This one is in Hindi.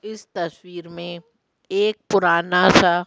इस तस्वीर में एक पुराना सा--